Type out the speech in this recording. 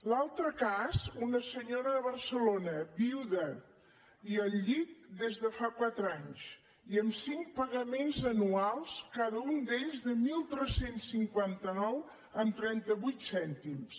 l’altre cas una senyora de barcelona viuda i al llit des de fa quatre anys i amb cinc pagaments anuals cada un d’ells de tretze cinquanta nou coma trenta vuit cèntims